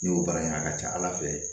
N'i y'o baara ɲini a ka ca ala fɛ